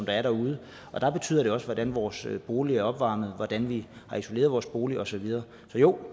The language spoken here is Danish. er derude og der betyder det også noget hvordan vores boliger er opvarmet hvordan vi har isoleret vores bolig og så videre så jo